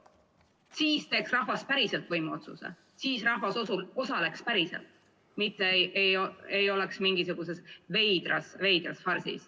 Siis teeks rahvas päriselt võimuotsuse, siis rahvas osaleks päriselt.